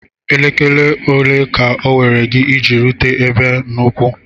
Elekere ole ka owere gi iji erute ebe a n'ụkwụ?